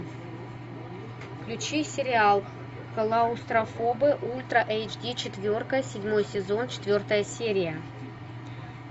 включи сериал клаустрофобы ультра эйч ди четверка седьмой сезон четвертая серия